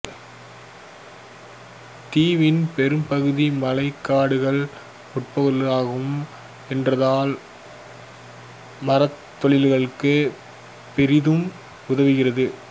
தீவின் பெரும்பகுதி மழைக்காடுகளால் மூடப்பட்டிருக்கும் என்றாலும் மரத்தொழிலுக்கு பெரிதும் உதவுகிறது